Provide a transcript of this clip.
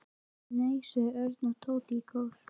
Nei sögðu Örn og Tóti í kór.